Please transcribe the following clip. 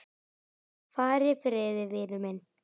Far í friði, vinur minn.